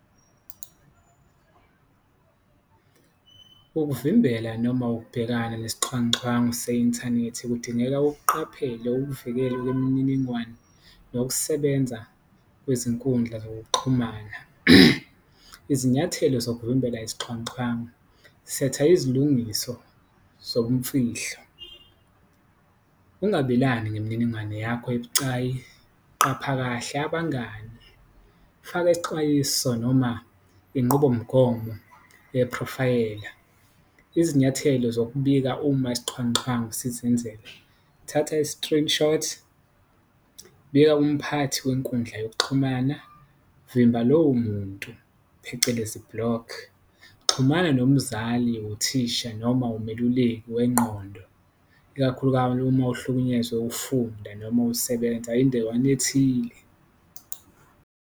Ukuvimbela noma ukubhekana nesixhwanguxhwangu se-inthanethi kudingeka ukuqaphele ukuvikela kwemininingwane nokusebenza kwizinkundla zokuxhumana. Izinyathelo zokuvimbela isixhwanguxhwangu, setha izilungiso zobumfihlo, ungabelani ngemininingwane yakho ebucayi, qapha kahle abangani, faka isixwayiso noma inqubomgomo yeprofayela, izinyathelo zokubika uma isixhwanguxhwangu sizenzela, thatha i-screenshot. Bika kumphathi wenkundla yokuxhumana, vimba lowo muntu phecelezi, block, xhumana nomzali, uthisha noma umeluleki wenqondo uma uhlukunyezwe ufunda noma usebenza endawana ethile.